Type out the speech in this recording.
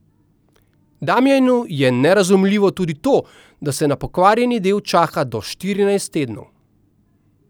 Damjanu je nerazumljivo tudi to, da se na pokvarjeni del čaka do štirinajst tednov.